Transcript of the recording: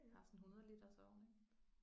Har sådan en 100 liters ovn ik